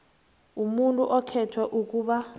umuntu okhethwe ukuba